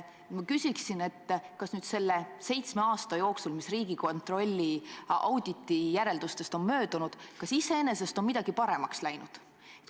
Ma küsiksin, kas selle seitsme aasta jooksul, mis Riigikontrolli auditi järeldustest on möödunud, on iseenesest midagi paremaks läinud.